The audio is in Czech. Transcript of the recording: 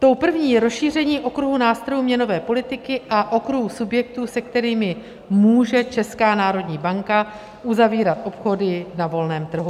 Tou první je rozšíření okruhu nástrojů měnové politiky a okruhu subjektů, se kterými může Česká národní banka uzavírat obchody na volném trhu.